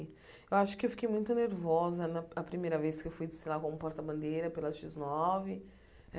Eu acho que eu fiquei muito nervosa na a primeira vez que eu fui, sei lá, como porta-bandeira pela xis nove.